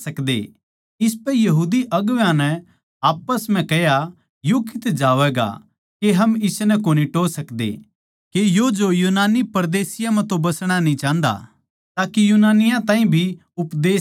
इसपै यहूदी अगुवां नै आप्पस म्ह कह्या यो कड़ै जावैगा के हम इसनै कोनी टोह् सकदे के यो जो यूनानियाँ म्ह परदेसियाँ म्ह तो बसणा न्ही चाहन्दा के यूनानियाँ ताहीं भी उपदेश दे